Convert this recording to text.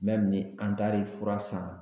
ni an taar'i fura san